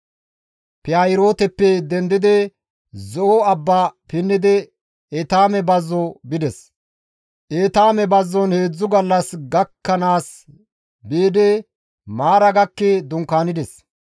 Pihaahirooteppe dendidi Zo7o abba pinnidi Etaame bazzo bides; Etaame bazzon heedzdzu gallas gakkanaas biidi Maara gakki dunkaanides;